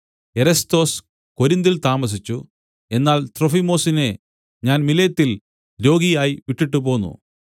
Erastus കൊരിന്തിൽ താമസിച്ചു എന്നാൽ ത്രൊഫിമൊസിനെ ഞാൻ മിലേത്തിൽ രോഗിയായി വിട്ടിട്ടുപോന്നു